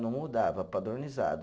Não mudava, padronizado.